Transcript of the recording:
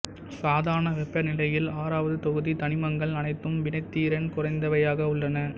சாதாரண வெப்பநிலையில் ஆறாவது தொகுதி தனிமங்கள் அனைத்தும் வினைத்திறன் குறைந்தவையாக உள்ளன